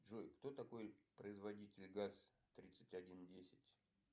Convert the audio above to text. джой кто такой производитель газ тридцать один десять